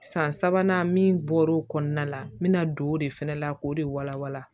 San sabanan min bɔra o kɔnɔna la n bɛ na don o de fɛnɛ la k'o de walawala